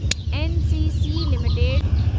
NCC limited